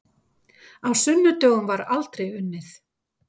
Á sunnudögum var aldrei unnið.